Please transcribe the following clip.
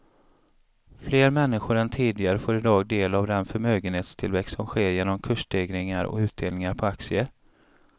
Fler människor än tidigare får i dag del av den förmögenhetstillväxt som sker genom kursstegringar och utdelningar på aktier.